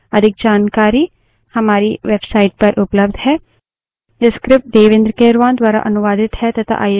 अधिक जानकारी हमारी website पर उपलब्ध है